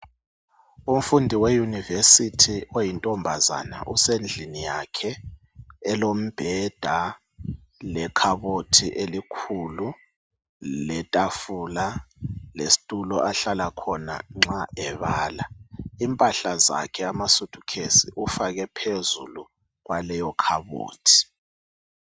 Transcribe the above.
umfundi we university oyintombazana usendlini yakhe elombheda le khabothi elikhulu le tafula lesitulo ahlala khona nxa ebala impahla zakhe ama suit case ufake phezulu kwaleyo khabothi